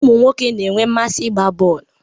Ụmụ nwoke na-enwe mmasị ịgba bọl.